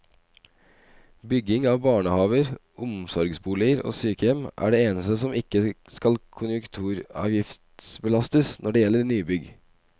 Bygging av barnehaver, omsorgsboliger og sykehjem er det eneste som ikke skal konjunkturavgiftsbelastes når det gjelder nybygg.